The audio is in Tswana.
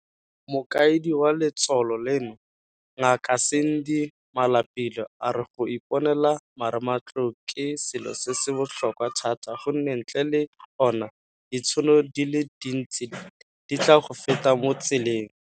Mokaedi wa letsholo leno, Ngaka Sandy Malapile, a re go iponela marematlou ke selo se se botlhokwa thata gonne ntle le ona, ditšhono di le dintsi di tla go feta mo tseleng.